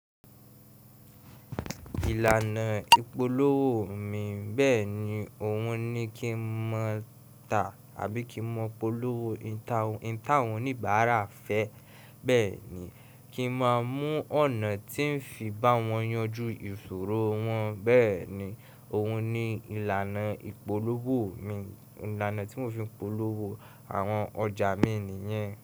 Ìlànà ìpolówó mi bẹ́ẹ̀ ni ohun ni kí ń mọ ta àbí kí ń mọ polówó. Ihun táwọn oníbàárà n fẹ́ bẹ́ẹ̀ni, kí ń máa mú ọ̀nà tí ń fi bá wọn yanjú ìṣòro wọn. Bẹ́ẹ̀ ni ohun ni ìlànà ìpolówó mi, ìlànà tí mò ń fi polówó àwọn ọjà mi nìyẹn.